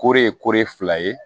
Koro ye kori fila ye